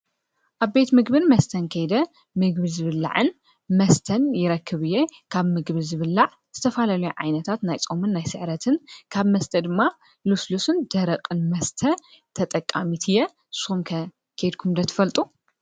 ኣብ ቤት ምግብን መስተን ከይደ ምግቢ ዝብላዕን መስተን ይረክብእየ ካብ ምግብ ዝብላዕ ዝተፋለለዮ ዓይነታት ናይ ጾምን ናይ ሥዕረትን ካብ መስተ ድማ ሉስሉስን ደረቕን መስተ ተጠቃሚት የ። ንሶምከ ኬድኩምደ ትፈልጡ።